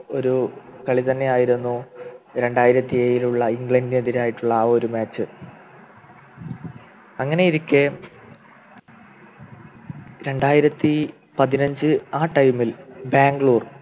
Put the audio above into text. ഒരു കളി തന്നെയായിരുന്നു രണ്ടായിരത്തി ഏഴിൽ ഉള്ള ഇംഗ്ലണ്ടിനെതിരായിട്ടുള്ള ആ ഒരു Match അങ്ങനെയിരിക്കെ രണ്ടായിരത്തി പതിനഞ്ച് ആ time ൽ ബാംഗ്ലൂർ